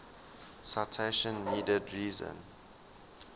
citation needed reason